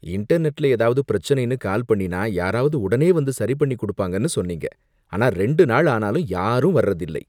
இன்டர்நெட்ல ஏதாவது பிரச்சனைன்னு கால் பண்ணினா, யாராவது உடனே வந்து சரிபண்ணி குடுப்பாங்கன்னு சொன்னீங்க, ஆனா ரெண்டு நாள் ஆனாலும் யாரும் வர்றதில்லை.